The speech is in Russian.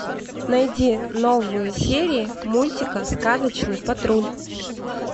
найди новые серии мультика сказочный патруль